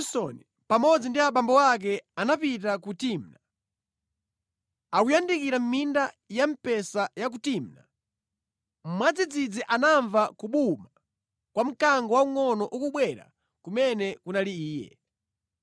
Choncho Samsoni pamodzi ndi abambo ake anapita ku Timna. Akuyandikira minda ya mpesa ya ku Timna, mwadzidzidzi anamva kubuma kwa mkango waungʼono ukubwera kumene kunali iye.